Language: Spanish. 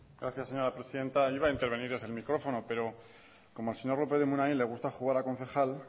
gracias señora presidenta iba a intervenir desde el micrófono pero como al señor lópez de munain le gusta jugar a concejal